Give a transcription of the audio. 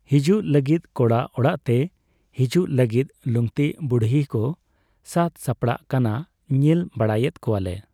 ᱦᱤᱡᱩᱜ ᱞᱟᱹᱜᱤᱫ ᱠᱚᱲᱟ ᱚᱲᱟᱜᱛᱮ ᱦᱤᱡᱩᱜ ᱞᱟᱹᱜᱤᱫ ᱞᱩᱝᱛᱤ ᱵᱩᱲᱦᱤ ᱠᱚ ᱥᱟᱹᱛ ᱥᱟᱯᱲᱟᱜ ᱠᱟᱱᱟ ᱧᱮᱞ ᱵᱟᱲᱟᱭᱮᱫ ᱠᱚᱣᱟᱞᱮ ᱾